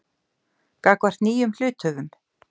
gagnvart nýjum hluthöfum.